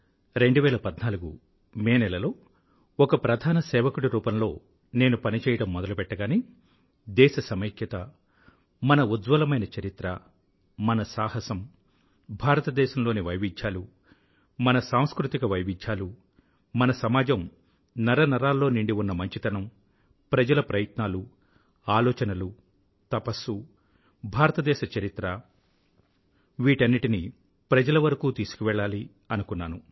2014 May నెలలో ఒక ముఖ్య సేవకుడి రూపంలో నేను పని చేయడం మొదలుపెట్టగానే దేశ సమైక్యత మన ఉజ్వలమైన చరిత్ర మన సాహసం భారతదేశంలోని వైవిధ్యాలు మన సాంస్కృతిక వైవిధ్యాలూ మన సమాజం నరనరాల్లో నిండి ఉన్న మంచితనం ప్రజల ప్రయత్నాలు ఆలోచనలు తపస్సు భారతదేశ చరిత్ర వీటన్నింటినీ ప్రజల వరకూ తీసుకువెళ్ళాలి అనుకున్నాను